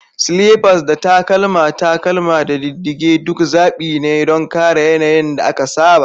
Slippers, takalma, takalma, da diddige duk zabi ne don ƙare yanayin da aka saba.